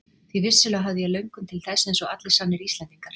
Því vissulega hafði ég löngun til þess eins og allir sannir Íslendingar.